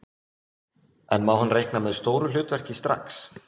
En má hann reikna með stóru hlutverki strax?